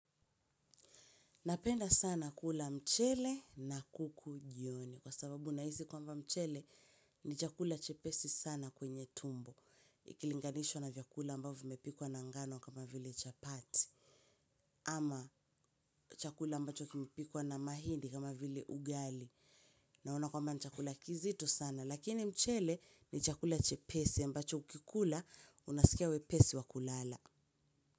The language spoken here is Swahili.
Napenda sana kula mchele na kuku jioni kwa sababu nahisi kwamba mchele ni chakula chepesi sana kwenye tumbo. Ikilinganishwa na vyakula ambavyo vimepikwa na ngano kama vile chapati. Ama chakula ambacho kimepikwa na mahindi kama vile ugali. Naona kwamba ni chakula kizito sana lakini mchele ni chakula chepesi ambacho ukikula unasikia wepesi wa kulala.